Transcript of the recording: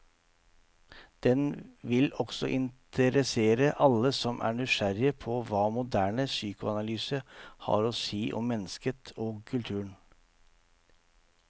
Den vil også interessere alle som er nysgjerrig på hva moderne psykoanalyse har å si om mennesket og kulturen.